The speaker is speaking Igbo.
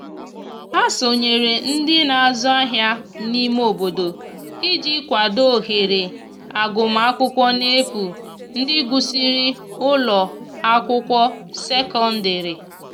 ha sonyere ndi n'azu ahia n'ime obodo iji kwado ohere agụma akwụkwo n'efu ndi gusiri ụlọ akwụkwo sekọndrị